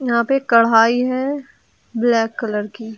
यहां पे कढ़ाही है ब्लैक कलर की।